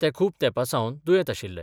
ते खूप तेपासावन दुयेत आशिल्ले.